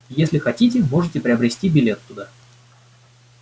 если хотите можете приобрести билет туда